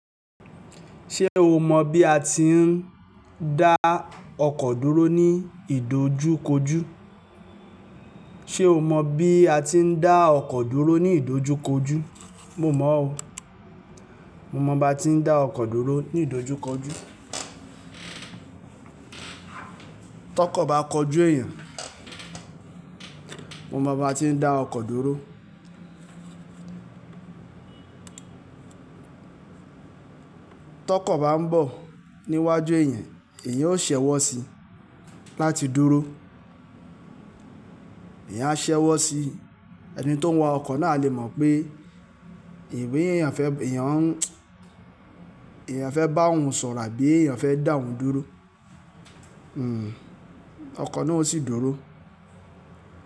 Ṣé o mọ bí a ti ń dá ọkọ̀ dúró ní ìdojúkojú? Sé o mọ bí a ti ń dá ọkọ̀ dúró ní ìdojúkojú? Mo mọ o. Mo mọ bí a ti ń dá ọkọ̀ dúró ní ìdojúkojú. Tọkọ̀ bá kojú èèyàn, mo mọ bí a ti ń dá ọkọ̀ dúró. Tọkọ̀ bá ń bọ̀ níwájú èèyàn, èèyàn ó ṣẹ̀wọ́ sí i láti dúró. Èèyàn á ṣẹ̀wọ́ sí i, ẹni tó ń wa ọkọ̀ náà a lè mọ̀ pé ìwọ bí èèyàn fẹ́, èèyàn ń, èèyàn fẹ́ bá òhun sọ̀rọ̀ àbí èèyàn fẹ́ dá òhun dúró. Hmm, ọkọ̀ náà ó sì dúró.